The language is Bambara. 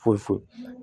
Fo